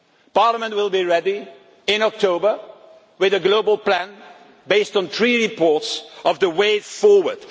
homework. Parliament will be ready in October with a global plan based on three reports on the way